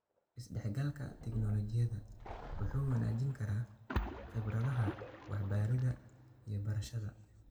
Isdhexgalka tignoolajiyadu wuxuu wanaajin karaa khibradaha waxbaridda iyo barashada.